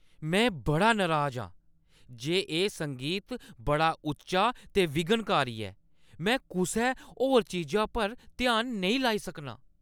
में बड़ा नराज आं जे एह् संगीत बड़ा उच्चा ते विघ्नकारी ऐ। में कुसै होर चीजा पर ध्यान नेईं लाई सकनां।